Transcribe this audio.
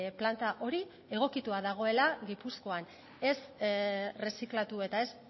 planta hori egokitua dagoela gipuzkoan ez erreziklatu eta ez